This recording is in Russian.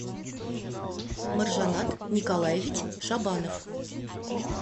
маржанат николаевич шабанов